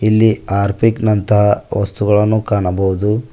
ಇಲ್ಲಿ ಹಾರ್ಪಿಕ್ ನಂತಹ ವಸ್ತುಗಳನ್ನು ಕಾಣಬಹುದು.